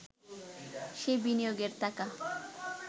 সেই বিনিয়োগের টাকা